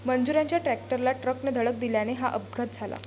मजुरांच्या ट्रॅक्टरला ट्रकने धडक दिल्याने हा अपघात झाला.